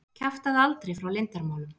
Kjaftaðu aldrei frá leyndarmálum!